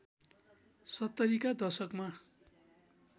७० का दशकमा